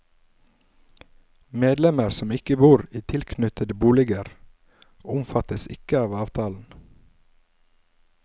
Medlemmer som ikke bor i tilknyttede boliger, omfattes ikke av avtalen.